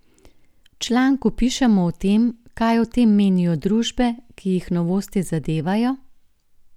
V članku pišemo o tem, kaj o tem menijo družbe, ki jih novosti zadevajo?